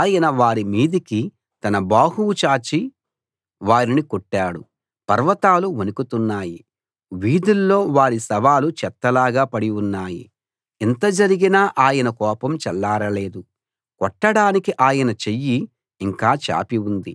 ఆయన వారి మీదికి తన బాహువు చాచి వారిని కొట్టాడు పర్వతాలు వణుకుతున్నాయి వీధుల్లో వారి శవాలు చెత్తలాగా పడి ఉన్నాయి ఇంత జరిగినా ఆయన కోపం చల్లారలేదు కొట్టడానికి ఆయన చెయ్యి ఇంకా చాపి ఉంది